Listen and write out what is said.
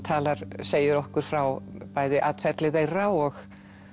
segir okkur frá bæði atferli þeirra og